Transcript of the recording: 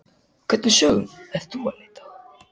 Hvernig sögum ertu að leita að?